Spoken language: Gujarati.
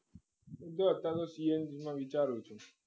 જો અત્યારે તો CNG માં વિચારું છું